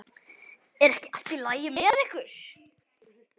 Er ekki allt í lagi með ykkur?